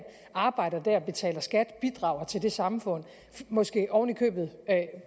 arbejder og betaler skat bidrager til det samfund måske oven i købet